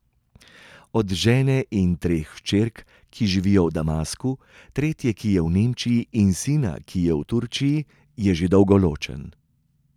Od žene in treh hčerk, ki živijo v Damasku, tretje, ki je v Nemčiji, in sina, ki je v Turčiji, je že dolgo ločen.